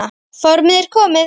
Formið er komið!